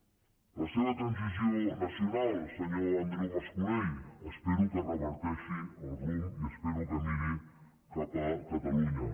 la seva transició nacional senyor andreu mas colell espero que reverteixi el rumb i espero que miri cap a catalunya